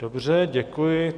Dobře, děkuji.